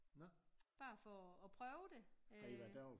Bare for og prøve det